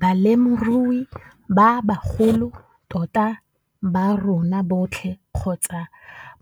Balemirui ba bagolo tota ba rona botlhe kgotsa